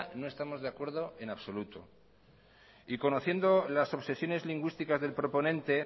no estamos de acuerdo en absoluto y conociendo las obsesiones lingüísticas del proponente